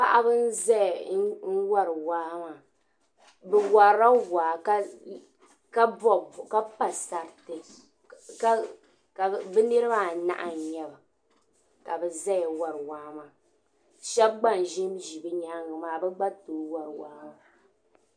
Paɣiba n ʒaya n wari waa maa.bɛ warila waa ka pa sariti bɛ niribi anahi n nyaba ka bɛ ʒaya n wari waa maa shabi gba n ʒinʒi bɛ nyaaŋa maa. n wari waa